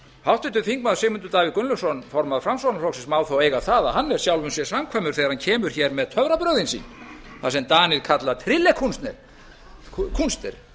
háttvirtur þingmaður sigmundur davíð gunnlaugsson formaður framsóknarflokksins má þó eiga það að hann er sjálfum sér samkvæmur þegar hann kemur hér með töfrabrögðin sín það sem danir kalla tryllekunster því